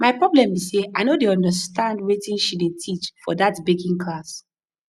my problem be say i no dey understand wetin she dey teach for dat baking class